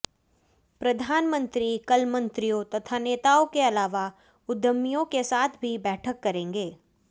प्रधानमंत्री कल मंत्रियों तथा नेताओं के अलावा उद्यमियों के साथ भी बैठक करेंगे